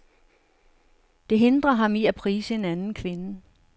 Det hindrer ham i at prise en anden kvinde.